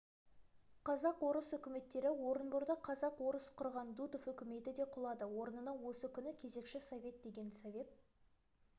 қазақ-орыс үкіметтері орынборда казак-орыс құрған дутов үкіметі де құлады орнына осы күні кезекші совет деген совет